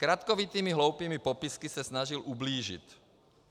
Zkratkovitými hloupými popisky se snažil ublížit.